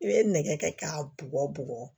I bɛ nɛgɛ kɛ k'a bɔgɔ bugɔ